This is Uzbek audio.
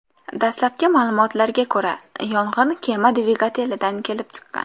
Dastlabki ma’lumotlarga ko‘ra, yong‘in kema dvigatelidan kelib chiqqan.